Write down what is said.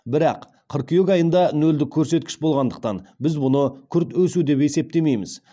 бірақ қыркүйек айында нөлдік көрсеткіш болғандықтан біз мұны күрт өсу деп есептейміз